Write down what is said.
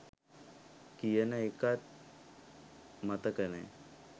කියන එකත් මතක නෑ